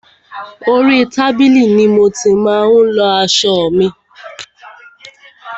Orí tábìlì ni mo ti má ń lọ aṣọ mi.